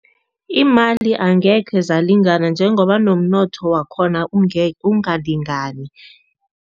Iimali angekhe zalingana njengoba nomnotho wakhona ungalingani.